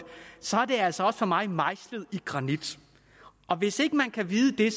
så er det altså for mig mejslet i granit hvis ikke man kan vide det